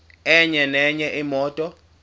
enye nenye imoto